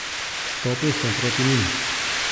Stopil sem proti njim.